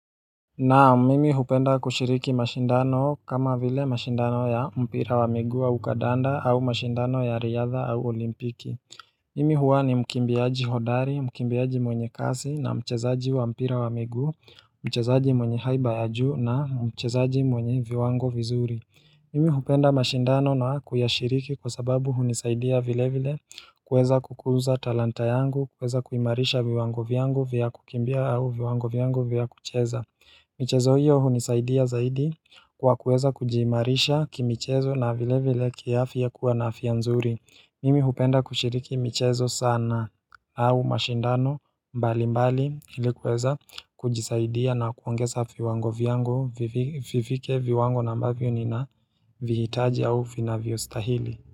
Na, mimi hupenda kushiriki mashindano kama vile mashindano ya mpira wa miguu au kadanda au mashindano ya riadha au olimpiki. Mimi huwa ni mkimbiaji hodari, mkimbiaji mwenye kasi na mchezaji wa mpira wa miguu, mchezaji mwenye haiba ya juu na mchezaji mwenye viwango vizuri. Mimi hupenda mashindano na kuyashiriki kwa sababu hunisaidia vile vile kuweza kukuza talanta yangu, kuweza kuimarisha viwango vyangu vya kukimbia au viwango vyangu vya kucheza. Michezo hiyo hunisaidia zaidi kwa kuweza kujiimarisha ki michezo na vile vile kiafya kuwa na afya mzuri. Mimi hupenda kushiriki michezo sana au mashindano mbali mbali ili kuweza kujisaidia na kuongeza viwango vyangu vivike viwango na ambavyo nina vihitaji au vinavyostahili.